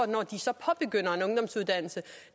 når de så påbegynder en ungdomsuddannelse